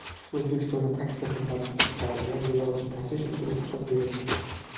O‘zbekistonda taksi xizmatlariga yo‘lovchi tashish uchun ruxsat berildi.